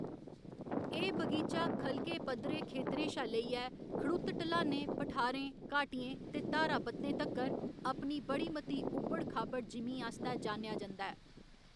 एह्‌‌ बगीचा ख'लके, पद्धरे खेतरें शा लेइयै खड़ुत्त ढलानें, पठारें, घाटियें ते धारा बत्तें तक्कर अपनी बड़ी मती उब्बड़ खाब्बड़ जिमीं आस्तै जानेआ जंदा ऐ।